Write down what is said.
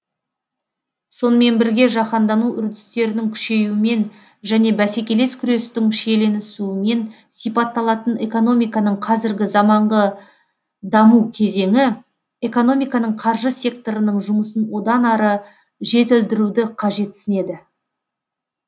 сонымен бірге жаһандану үрдістерінің күшеюімен және бәсекелес күрестің шиеленісуімен сипатталатын экономиканың қазіргі заманғы даму кезеңі экономиканың қаржы секторының жұмысын одан ары жетілдіруді қажетсінеді